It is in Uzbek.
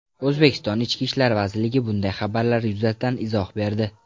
O‘zbekiston Ichki ishlar vazirligi bunday xabarlar yuzasidan izoh berdi .